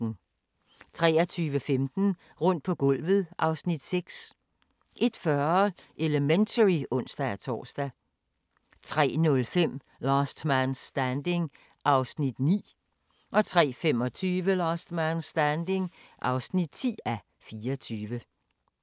23:15: Rundt på gulvet (Afs. 6) 01:40: Elementary (ons-tor) 03:05: Last Man Standing (9:24) 03:25: Last Man Standing (10:24)